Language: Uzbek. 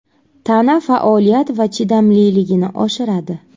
Tana faoliyat va chidamliligini oshiradi.